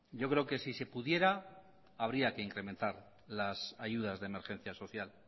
yo creo que si se pudiera habría que incrementar las ayudas de emergencia social